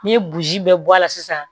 N'i ye boji bɛɛ bɔ a la sisan